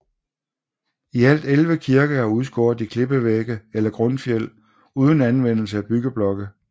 I alt 11 kirker er udskåret i klippevægge eller grundfjeld uden anvendelse af byggeblokke